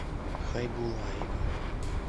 хайбулаева